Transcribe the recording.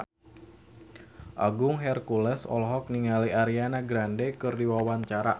Agung Hercules olohok ningali Ariana Grande keur diwawancara